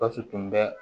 Gawusu tun bɛ